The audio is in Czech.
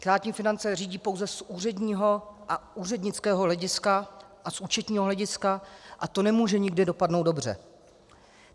Státní finance řídí pouze z úředního a úřednického hlediska a z účetního hlediska, a to nemůže nikdy dopadnout dobře.